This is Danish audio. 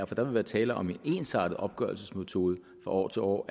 for der vil være tale om en ensartet opgørelsesmetode fra år til år